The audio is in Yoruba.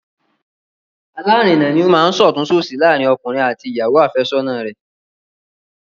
Alárinà ni ó máa ń ṣọ̀tún-ṣòsì láàárín ọkùnrin àti ìyàwó àfẹ́sọ́nà rẹ̀